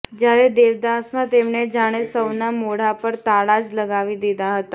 જ્યારે દેવદાસ માં તેમણે જાણે સૌના મોઢા પર તાળા જ લગાવી દીધા હતા